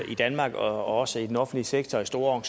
i danmark også i den offentlige sektor i store